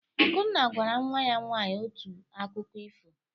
Akunna gwara nwa ya nwaanyị otu akụkọ ifo.